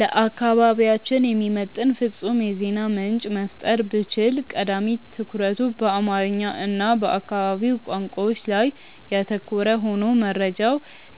ለአካባቢያችን የሚመጥን ፍጹም የዜና ምንጭ መፍጠር ብችል፣ ቀዳሚ ትኩረቱ በአማርኛ እና በአካባቢው ቋንቋዎች ላይ ያተኮረ ሆኖ መረጃው